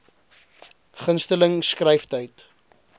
gunste ling skryftyd